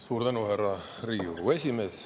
Suur tänu, härra Riigikogu esimees!